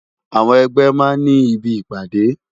Awòn ègbè má n ni ibi ipàdé